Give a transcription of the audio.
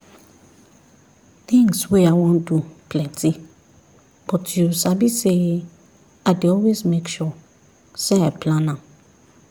things wey i wan do plenty but you sabi say i dey always make sure say i plan am